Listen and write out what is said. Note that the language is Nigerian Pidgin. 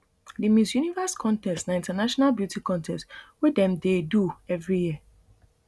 di miss universe contest na international beauty contest wey dem dey do evri year